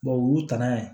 u y'u ta n'a ye